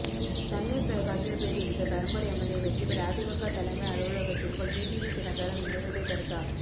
Sun News தொலைக்காட்சியில் பேட்டியளித்த Perambur MLA Vetrivel AIADMK தலைமை அலுலகத்திற்குள் டிடிவி தினகரன் நுழைவதை தடுத்தால்